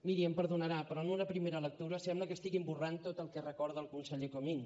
miri em perdonarà però en una primera lectura sembla que estiguin esborrant tot el que recorda el conseller comín